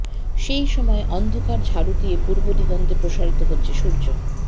সেই সময়ে অন্ধকার ঝাড়ু দিয়ে পূর্বদিগন্তে প্রসারিত হচ্ছে সূর্য